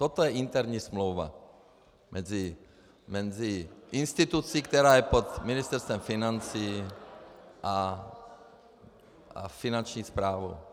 Toto je interní smlouva mezi institucí, která je pod Ministerstvem financí, a Finanční správou.